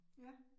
Ja